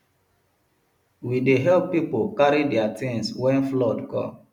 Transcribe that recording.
we dey help pipo carry their tins wen flood come